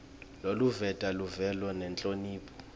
loluveta luvelo nenhlonipho